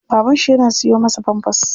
Baban shi yana siyo masa pampers.